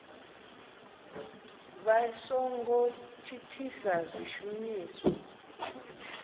vha so ngo thithisa zwishumiswa